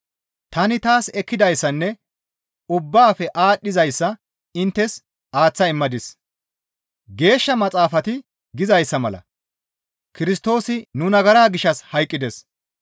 Tani taas ekkidayssanne ubbaafe aadhdhizayssa inttes aaththa immadis; Geeshsha Maxaafati gizayssa mala Kirstoosi nu nagara gishshas hayqqides.